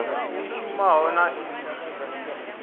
i shumaho na i si